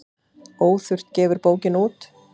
Óþurft gefur bókina út.